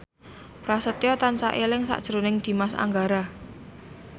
Prasetyo tansah eling sakjroning Dimas Anggara